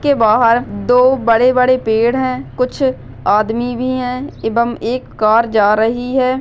इसके बाहर दो बड़े बड़े पेड़ है कुछ आदमी भी है एवंम एक कार जा रही है।